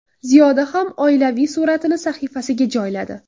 Ziyoda ham oilaviy suratini sahifasiga joyladi.